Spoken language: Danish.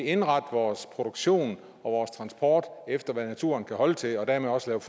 indrette vores produktion og transport efter hvad naturen kan holde til og dermed også lave